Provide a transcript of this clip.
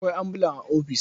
Akwai ambulan a ofis.